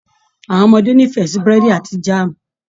Àwọn ọmọdé n'ifẹ sí burẹdi àti jaamu.